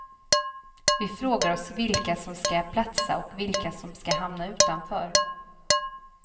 Vi frågar oss vilka som ska platsa och vilka som ska hamna utanför.